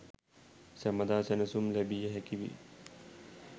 සැමදා සැනසුම් ලැබිය හැකිවේ.